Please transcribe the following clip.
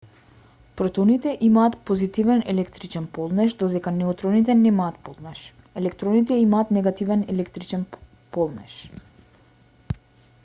протоните имаат позитивен електричен полнеж додека неутроните немаат полнеж електроните имаат негативен електрилчен полнеж